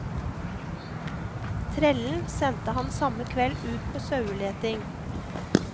Trellen sendte han samme kveld ut på saueleting.